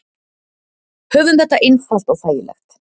Höfum þetta einfalt og þægilegt.